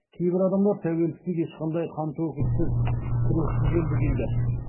кейбір адамдар тәуелсіздік ешқандай қантөгіссіз күрессіз келді дейді